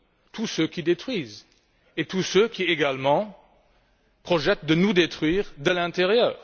tous ceux qui détruisent et tous ceux également qui projettent de nous détruire de l'intérieur.